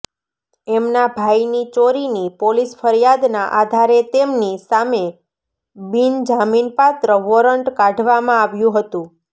એમના ભાઈની ચોરીની પોલીસ ફરિયાદના આધારે તેમની સામે બિનજામીનપાત્ર વોરન્ટ કાઢવામાં આવ્યું હતું